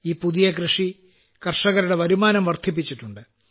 ഈ പുതിയ കൃഷി കർഷകരുടെ വരുമാനം വർദ്ധിപ്പിച്ചിട്ടുണ്ട്